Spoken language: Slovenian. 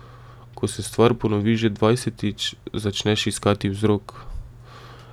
Ko se stvar ponovi že dvajsetič, začneš iskati vzrok.